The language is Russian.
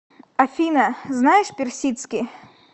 афина знаешь персидский